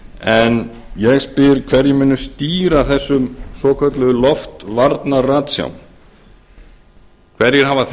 en ég spyr hverjir munu stýra þessum svokölluðu loftvarna ratsjám hverjir hafa